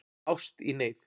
Ást í neyð